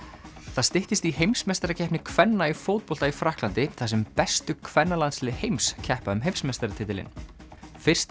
það styttist í heimsmeistarakeppni kvenna í fótbolta í Frakklandi þar sem bestu kvennalandslið heims keppa um heimsmeistaratitilinn fyrsta